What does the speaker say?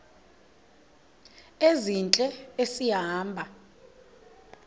ezintle esi hamba